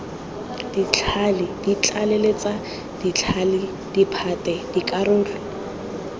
ditlhale ditlaleletsa ditlhale diphate dikarolo